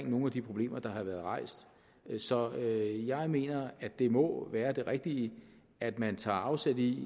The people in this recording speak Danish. nogle af de problemer der har været rejst så jeg mener at det må være det rigtige at man tager afsæt i